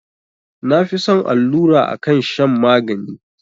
Na fi son allura akan shan magani